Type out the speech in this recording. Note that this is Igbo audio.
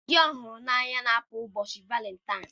Ndị hụrụ n'anya na-apụ n'ụbọchị Valentine.